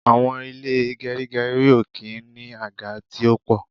Àwọn ilé gerigeri ó kí n ní àga tí ó po